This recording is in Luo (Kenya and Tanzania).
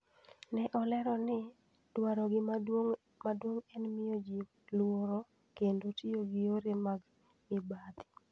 Ne olero ni, 'Dwarogi maduong ' en miyo ji luoro kendo tiyo gi yore mag mibadhi.